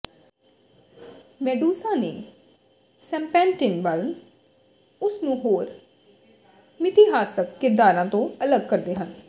Medusa ਦੇ serpentine ਵਾਲ ਉਸ ਨੂੰ ਹੋਰ ਮਿਥਿਹਾਸਕ ਕਿਰਦਾਰਾਂ ਤੋਂ ਅਲੱਗ ਕਰਦੇ ਹਨ